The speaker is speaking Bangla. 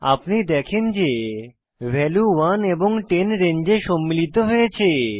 আপনি দেখেন যে ভালু 1 এবং 10 রেঞ্জে সম্মিলিত হয়েছে